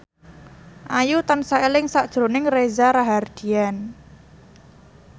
Ayu tansah eling sakjroning Reza Rahardian